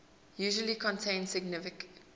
usually contain significant